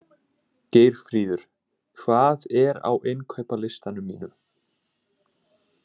Geirfríður, hvað er á innkaupalistanum mínum?